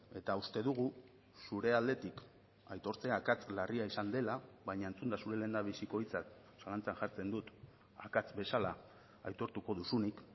eta uste dugu zure aldetik aitortzea akats larria izan dela baina entzunda zure lehendabiziko hitzak zalantzan jartzen dut akats bezala aitortuko duzunik